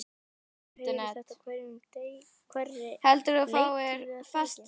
Maður heyrir þetta á hverri leiktíð er það ekki?